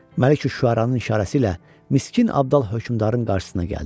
Məliküşşüəranın işarəsi ilə Miskin Abdal hökmdarın qarşısına gəldi.